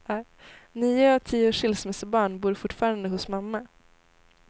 Nio av tio skilsmässobarn bor fortfarande hos mamma.